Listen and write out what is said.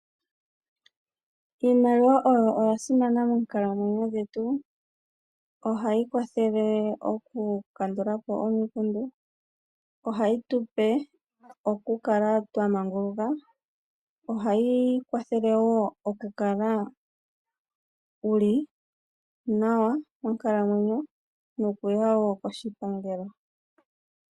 Iimaliwa oyo oya simana moonkalamwenyo dhetu. Ohayi kwathele oku kandulapo omikundu, ohayi tupe oku kala twa manguluka, ohayi kwathele wo oku kala wuli nawa moonkalamwenyo nokuya wo koshipangelo.